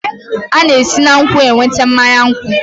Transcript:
A na-esi na nkwụ enweta mmanya nkwụ